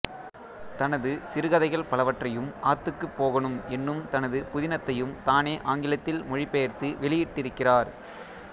தனது சிறுகதைகள் பலவற்றையும் ஆத்துக்குப் போகணும் என்னும் தனது புதினத்தையும் தானே ஆங்கிலத்தில் மொழிபெயர்த்து வெளியிட்டிருக்கிறார்